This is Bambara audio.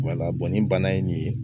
ni bana ye nin ye